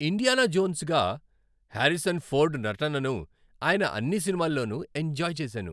Indiana జోన్స్గా Harrison Ford నటనను ఆయన అన్ని సినిమాల్లోనూ ఎంజాయ్ చేశాను.